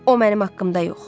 O mənim haqqımda yox.